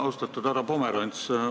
Austatud härra Pomerants!